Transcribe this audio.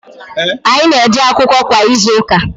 anyị na-eje akwụkwọ kwa izuụka.